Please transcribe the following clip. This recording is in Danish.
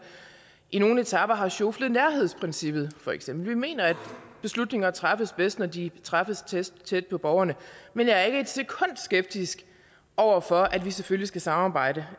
i nogle etaper har sjoflet nærhedsprincippet for eksempel vi mener at beslutninger træffes bedst når de træffes tæt på borgerne men jeg er ikke et sekund skeptisk over for at vi selvfølgelig skal samarbejde